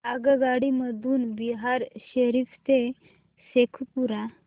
आगगाडी मधून बिहार शरीफ ते शेखपुरा